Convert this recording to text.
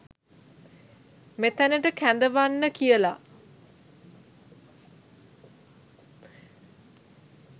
මෙතැනට කැඳවන්න කියලා.